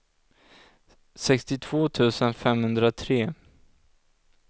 sextiotvå tusen femhundratre